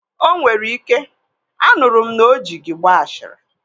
O nwere ike, anụrụ m na o ji gị gbaa ashịrị